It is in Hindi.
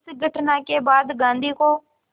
इस घटना के बाद गांधी को